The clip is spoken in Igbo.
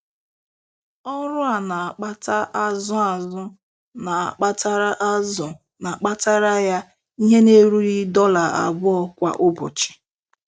Ọrụ a na-akpata azụ azụ na-akpatara azụ na-akpatara ya ihe na-erughị dollar abụọ kwa ụbọchị.